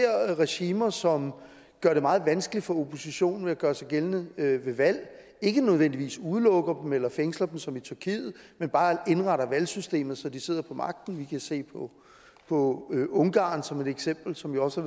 regimer som gør det meget vanskeligt for oppositionen at gøre sig gældende ved valg ikke nødvendigvis udelukker dem eller fængsler dem som i tyrkiet men bare indretter valgsystemet så de sidder på magten vi kan se på ungarn som et eksempel som også